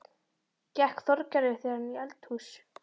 Gekk Þorgerður þegar inn í eldahús.